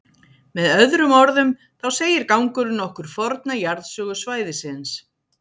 Með öðrum orðum, þá segir gangurinn okkur forna jarðsögu svæðisins.